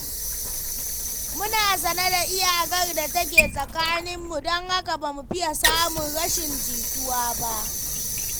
Muna sane da iyakar da take tsakaninmu, don haka ba mu fiya samun rashin jituwa ba.